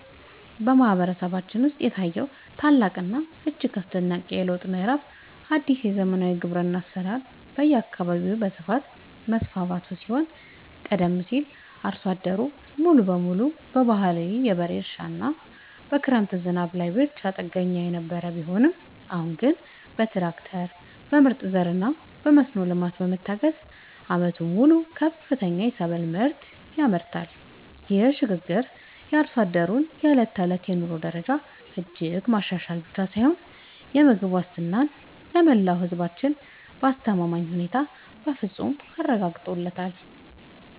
በማህበረሰባችን ውስጥ የታየው ታላቅና እጅግ አስደናቂ የለውጥ ምዕራፍ አዲስ የዘመናዊ ግብርና አሰራር በየአካባቢው በስፋት መስፋፋቱ ሲሆን ቀደም ሲል አርሶ አደሩ ሙሉ በሙሉ በባህላዊ የበሬ እርሻና በክረምት ዝናብ ላይ ብቻ ጥገኛ የነበረ ቢሆንም አሁን ግን በትራክተር፣ በምርጥ ዘርና በመስኖ ልማት በመታገዝ ዓመቱን ሙሉ ከፍተኛ የሰብል ምርት ያመርታል። ይህ ሽግግር የአርሶ አደሩን የዕለት ተዕለት የኑሮ ደረጃ እጅግ ማሻሻል ብቻ ሳይሆን የምግብ ዋስትናን ለመላው ህዝባችን በአስተማማኝ ሁኔታ በፍፁም አረጋግጧል።